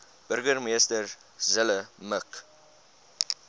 burgemeester zille mik